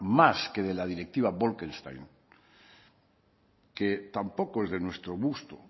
más que de la directiva bolkestein que tampoco es de nuestro gusto